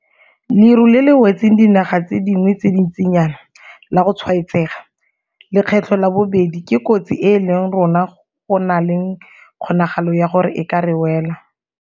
Leru le le wetseng dinaga tse dingwe tse dintsinyana la go tshwaetsega lekgetlo la bobedi ke kotsi e le rona go nang le kgonagalo ya gore e ka re wela.